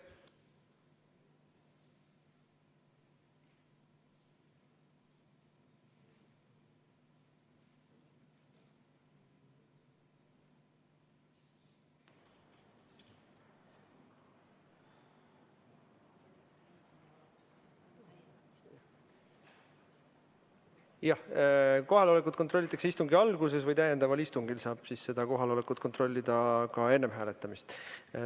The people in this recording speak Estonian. Jah, kohalolekut kontrollitakse istungi alguses ja täiendaval istungil saab kohalolekut kontrollida ka enne hääletamist.